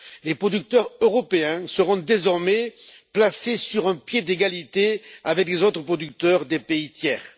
Les producteurs européens seront désormais placés sur un pied d'égalité avec les producteurs des pays tiers.